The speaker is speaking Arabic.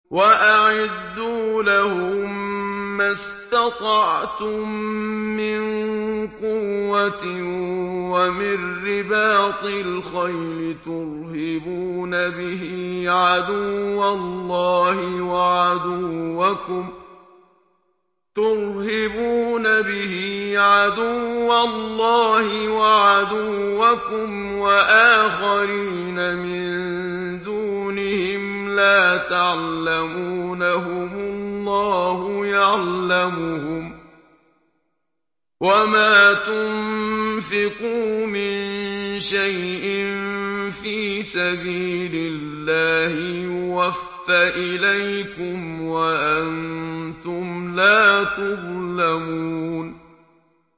وَأَعِدُّوا لَهُم مَّا اسْتَطَعْتُم مِّن قُوَّةٍ وَمِن رِّبَاطِ الْخَيْلِ تُرْهِبُونَ بِهِ عَدُوَّ اللَّهِ وَعَدُوَّكُمْ وَآخَرِينَ مِن دُونِهِمْ لَا تَعْلَمُونَهُمُ اللَّهُ يَعْلَمُهُمْ ۚ وَمَا تُنفِقُوا مِن شَيْءٍ فِي سَبِيلِ اللَّهِ يُوَفَّ إِلَيْكُمْ وَأَنتُمْ لَا تُظْلَمُونَ